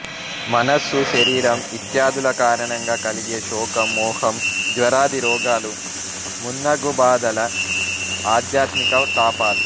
మనస్సు శరీరం ఇత్యాదుల కారణంగా కలిగే శోకం మోహం జ్వరాది రోగాలు మున్నగు బాధలు ఆధ్యాత్మిక తాపాలు